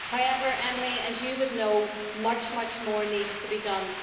However, Emily, as you would know, much, much more needs to be done.